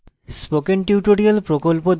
spoken tutorial প্রকল্প the